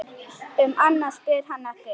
Um annað spyr hann ekki.